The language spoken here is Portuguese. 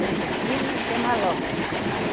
Tem Justina e tem Maloca.